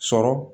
Sɔrɔ